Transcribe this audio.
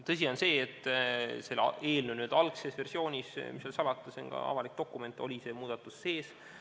Tõsi on see, et selle eelnõu n-ö algses versioonis – mis seal salata, see on avalik dokument – oli see muudatus sees.